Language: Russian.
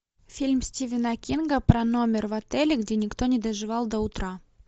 фильм стивена кинга про номер в отеле где никто не доживал до утра